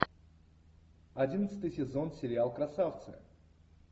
одиннадцатый сезон сериал красавцы